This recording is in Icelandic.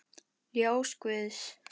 Ljós guðs.